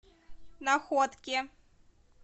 находке